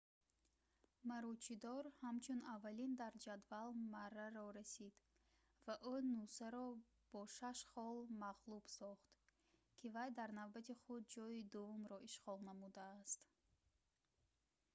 маручидор ҳамчун аввалин дар ҷадвал марраро расид ва ӯ нусаро бо шаш хол мағлуб сохт ки вай дар навбати худ ҷои дуввумро ишғол намудааст